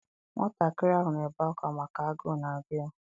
Nwatakịrị ahụ na-ebe akwa maka agụụ na-agụ ya.